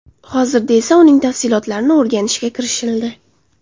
Hozirda uning tafsilotlarini o‘rganishga kirishildi.